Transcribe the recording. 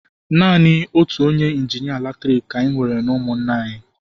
Naanị otu onye injinịa latriki ka anyị nwere n'ụmụnna anyị.